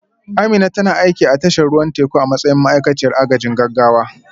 Amina tana aiki a tashar ruwan teku a matsayin ma'aikaciyar agajin gaggawa